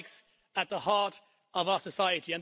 It strikes at the heart of our society.